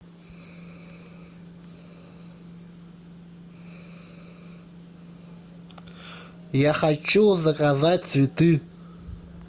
я хочу заказать цветы